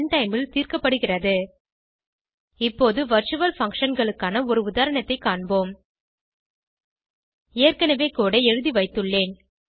run time ல் தீர்க்கப்படுகிறது இப்போது வர்ச்சுவல் functionகளுக்கான ஒரு உதாரணத்தை காண்போம் ஏற்கனவே கோடு ஐ எழுதி வைத்துள்ளேன்